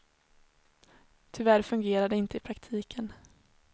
Tyvärr fungerar det inte i praktiken.